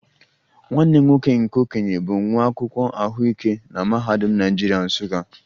Nwanne m nwoke nke okenye bụ nwa akwụkwọ ahụike na Mahadum Naijiria, Nsukka